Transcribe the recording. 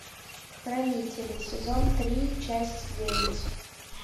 хранители сезон три часть девять